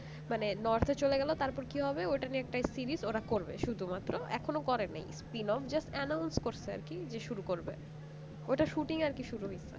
মানে north চলে গেল তারপর কি হবে ওটা ওটা নিয়ে একটা series ওরা করবে শুধুমাত্র এখনো করেনি seen off just announce করছে আর কি যে শুরু করবে ওটা shooting আর কি শুরু হইতে পারে